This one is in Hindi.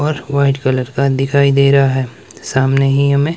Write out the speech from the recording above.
और व्हाइट कलर का दिखाई दे रहा है सामने ही हमें--